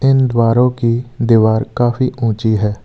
इन द्वारों की दीवार काफी ऊंची है।